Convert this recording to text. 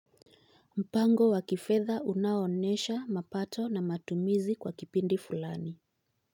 Mpango wa kifedha unaonesha mapato na matumizi kwa kipindi fulani.